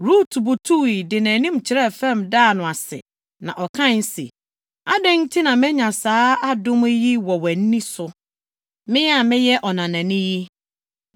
Rut butuwii, de nʼanim kyerɛɛ fam daa no ase. Na ɔkae se, “Adɛn nti na manya saa adom yi wɔ wʼani so, me a meyɛ ɔnanani yi?”